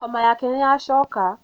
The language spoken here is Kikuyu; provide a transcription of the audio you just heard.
homa yake nĩyacoka